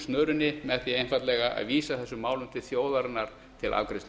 snörunni með því einfaldlega að vísa þessum málum til þjóðarinnar til afgreiðslu